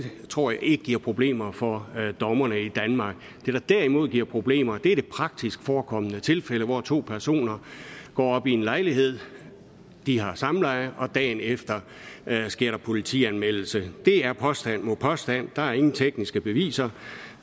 tror jeg ikke giver problemer for dommerne i danmark det der derimod giver problemer er det praktisk forekommende tilfælde hvor to personer går op i en lejlighed de har samleje og dagen efter sker der politianmeldelse det er påstand mod påstand der er ingen tekniske beviser